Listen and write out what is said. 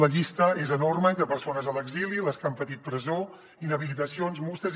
la llista és enorme entre persones a l’exili les que han patit presó inhabilitacions multes